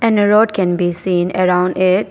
And a road can be seen around it.